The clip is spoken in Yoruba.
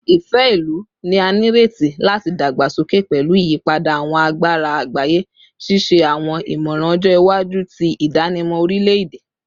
Ifẹ-ilu ni a nireti lati dagbasoke pẹlu iyipada awọn agbara agbaye, ṣiṣe awọn imọran ọjọ iwaju ti idanimọ orilẹ-ede